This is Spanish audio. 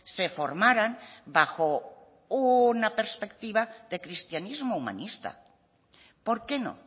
se formaran bajo una perspectiva de cristianismo humanista por qué no